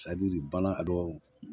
bana ka dɔgɔ